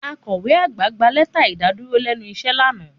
Akọ̀we àgbà gba lẹ́tà ìdàdúró lẹ́nu iṣẹ́ lánàá